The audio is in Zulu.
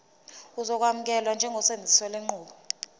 uzokwamukelwa njengosebenzisa lenqubo